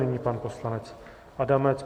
Nyní pan poslanec Adamec.